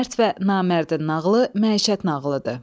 Mərd və namərdin nağılı məişət nağılıdır.